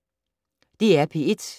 DR P1